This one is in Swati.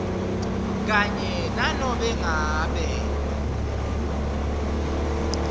kanye nanobe ngabe